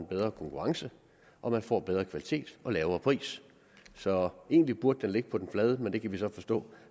bedre konkurrence og man får en bedre kvalitet og lavere pris så egentlig burde den ligge på den flade men det kan vi så forstå